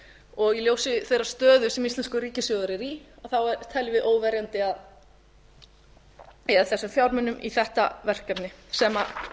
og í ljósi þeirrar stöðu sem íslenskur ríkissjóður er í teljum við óverjandi að eyða þessum fjármunum í þetta verkefni sem